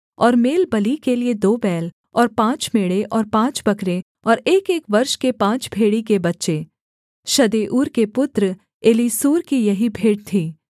और मेलबलि के लिये दो बैल और पाँच मेढ़े और पाँच बकरे और एकएक वर्ष के पाँच भेड़ी के बच्चे शदेऊर के पुत्र एलीसूर की यही भेंट थी